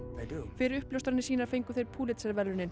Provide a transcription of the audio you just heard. fyrir uppljóstranir sínar fengu þeir Pulitzer verðlaunin